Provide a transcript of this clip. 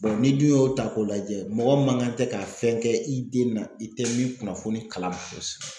n'i dun y'o ta k'o lajɛ mɔgɔ man kan tɛ ka fɛn kɛ i den na i tɛ min kunnafoni kalaman